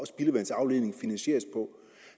spildevandsafledningen finansieres på